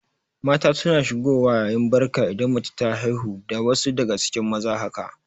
Mata suna shigo wa yin Barka idan mace ta haihu da wasu daga cikin maza haka